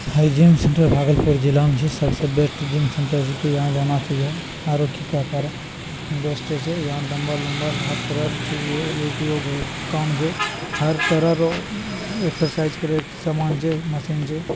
हाई gym central Bhagalpur जिला में छै सबसे बेस्ट जिम सेंटर छै यहां जाना चाहिए---